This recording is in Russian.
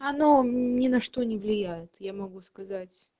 оно ни на что не влияет я могу сказать